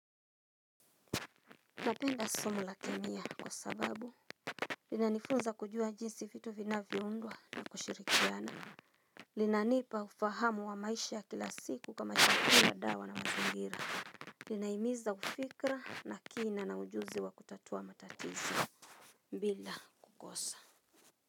Napenda somo la kemia kwa sababu Linanifunza kujua jinsi vitu vinavyoundwa kwa kushirikiana linanipa ufahamu wa maisha ya kila siku kama shakila dawa na mazingira Linahimiza ufikra, na kina, na ujuzi wa kutatua matatizo bila kukosa.